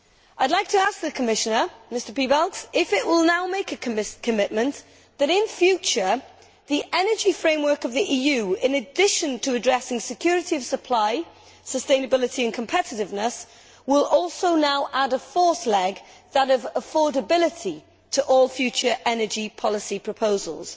I would like to ask Commissioner Piebalgs if he will now make a commitment that, in future, the energy framework of the EU, in addition to addressing security of supply, sustainability and competitiveness, will also now add a fourth leg that of affordability to all future energy policy proposals.